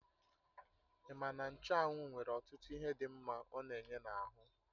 Ima na nchụ́anwu nwere ọtụtụ ihe dị mma ọ na-enye n'ahụ?